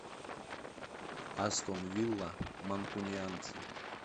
астон вилла манкунианцы